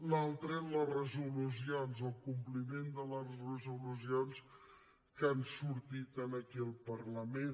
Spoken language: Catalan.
l’altra són les resolucions el compliment de les resolucions que han sortit aquí al parlament